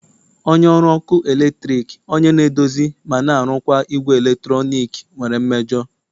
onye ọrụ ọkụ eletrik onye na-edozi ma na-arụkwa igwe eletrọnịkị nwere mmejọ